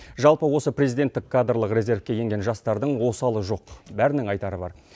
жалпы осы президенттік кадрлық резервке енген жастардың осалы жоқ бәрінің айтары бар